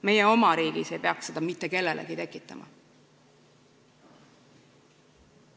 Meie oma riigis ei peaks seda mitte kellelegi tekitama.